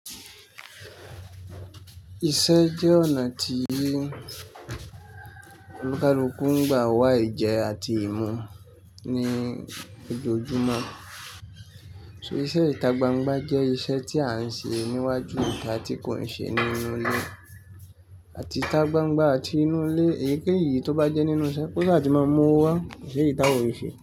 Iṣẹ́ jẹ́ ọ̀nà tí olùkalukù ń gba wá Ìjẹ àti ìmú ní ojoojúmọ́. So, iṣẹ́ ìta gbangba jẹ́ iṣẹ́ tí a ń ṣe níwájú ìta, tí kò ń ṣe nínú ilé àti ìta gbangba àti inú ilé. Èyí keyi tó bá jẹ́ nínú isé, kó ṣa àti máa mú ọ wá, ko seyi tawa ole se.